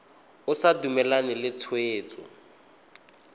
o sa dumalane le tshwetso